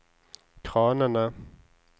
kranene